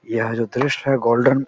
यह जो दृश्य है गोल्डन --